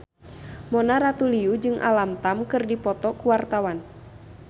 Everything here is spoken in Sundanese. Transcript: Mona Ratuliu jeung Alam Tam keur dipoto ku wartawan